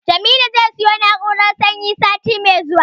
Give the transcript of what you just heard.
Jamilu zai siyo na'urar sanyi sati mai zuwa.